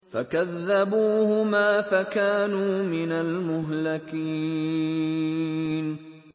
فَكَذَّبُوهُمَا فَكَانُوا مِنَ الْمُهْلَكِينَ